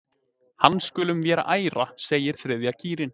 Hann skulum vér æra segir þriðja kýrin.